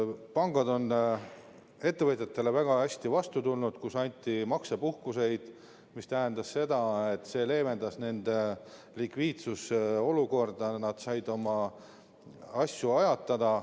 Pangad on ettevõtjatele väga hästi vastu tulnud, on antud maksepuhkuseid, mis tähendab seda, et see on leevendanud nende likviidsusolukorda, nad on saanud oma asju ajatada.